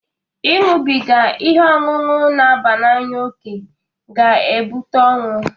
Ị ñụbiga ihe ọṅụṅụ n'aba n'anya oke ga-ebụta ọnwụ